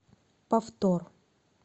повтор